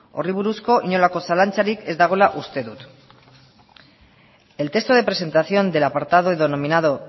horri buruzko inolako zalantzarik ez dagoela uste dut el texto de presentación del apartado denominado